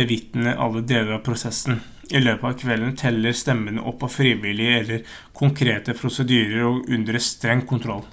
bevitne alle deler av prosessen i løpet av kvelden telles stemmene opp av frivillige etter konkrete prosedyrer og under streng kontroll